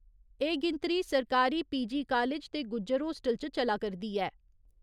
एह् गिनतरी सरकारी पी.जी कालेज ते गुज्जर होस्टल च चला करदी ऐ।